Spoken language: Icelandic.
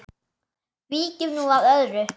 Víkjum nú að öðru.